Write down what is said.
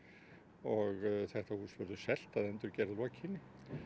og þetta hús verður selt að endurgerð lokinni